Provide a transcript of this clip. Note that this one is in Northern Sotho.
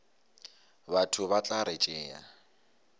batho ba tla re tšea